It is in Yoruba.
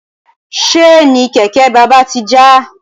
Ṣéènì kẹ̀kẹ́ bàbá ti já.